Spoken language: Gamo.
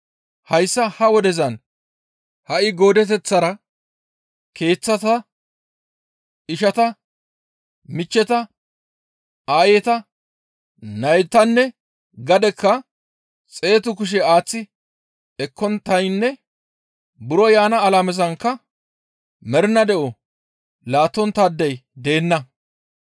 hayssa ha wodezan ha7i goodeteththara keeththata, ishata, michcheta, aayeta, naytanne gadekka xeetu kushe aaththi ekkonttaynne buro yaana alamezankka mernaa de7o laattonttaadey deenna.